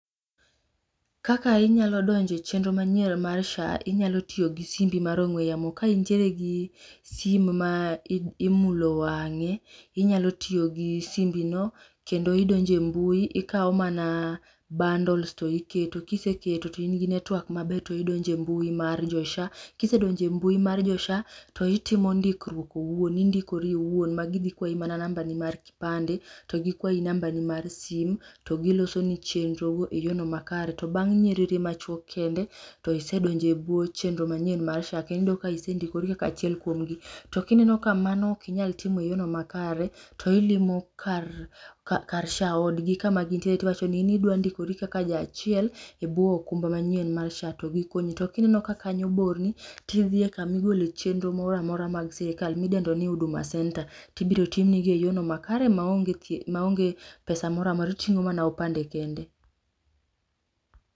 Kaka inyalo donjoe chenro manyien mar SHA inyalo tiyo gi simbi mar ong'we yamo ka intiere gi simu ma imulo wang'e inyalo tiyo gi simbi no. Kendo idonje mbui okaw mana bundles to iketo. Kiseketo to in gi network maber to idonje mbui mar jo SHA. Kisedonje mbui mar jo SHA, to itimo ndikruok owuon indikori owuon. Ma gidhi kwayi mana namba ni mar kipande to gikwayi namba ni mar simu to gilosini chenro e yo no makare. To bang'e nyerere ma chuok kende to isedonje e buo chenro manyien mar SHA kendo isendikori kaka achiel kuom gi. To kineno ka mano ok inyal timo e yor no makare to ilimo kar SHA odgi kama gintie to iwacho ni in idwa ndikori kaka ja achiel e bwo okumba manyien mar SHA to gikonyi. To kineneo ka kanyo borni to idhie kama igole chenro moro amora mar sirikal mi idendo ni Huduma Center. Tibiro timnigi e yorno makare maonge pesa moro amora iting'o mana opande kende.